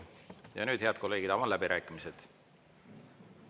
Ja nüüd, head kolleegid, avan läbirääkimised.